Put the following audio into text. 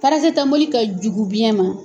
Parasitamɔli ka jugu biyɛn ma.